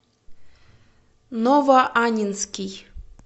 новоаннинский